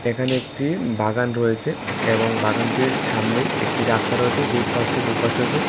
এখানে একটি বাগান রয়েছে এবং বাগানটির সামনে একটি রাস্তা রয়েছে যে এপাশ থেকে ওপাশেও যায়।